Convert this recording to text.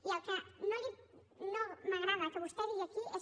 i el que no m’agrada que vostè digui aquí és